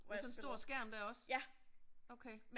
Med sådan en stor skærm der også?